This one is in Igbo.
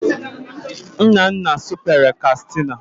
Nnanna supere Kastịna